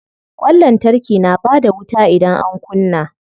Ƙwan lantarki na bada wuta idan an kunna.